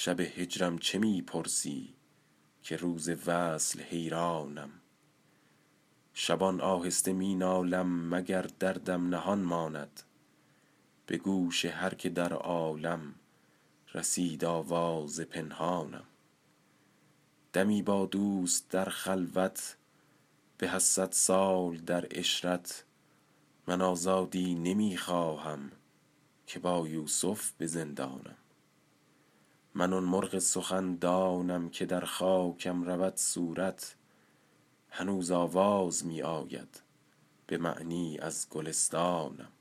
شب هجرم چه می پرسی که روز وصل حیرانم شبان آهسته می نالم مگر دردم نهان ماند به گوش هر که در عالم رسید آواز پنهانم دمی با دوست در خلوت به از صد سال در عشرت من آزادی نمی خواهم که با یوسف به زندانم من آن مرغ سخندانم که در خاکم رود صورت هنوز آواز می آید به معنی از گلستانم